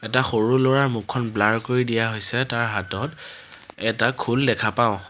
এটা সৰু ল'ৰাৰ মুখখন ব্লাৰ কৰি দিয়া হৈছে তাৰ হাতত এটা খোল দেখা পাওঁ।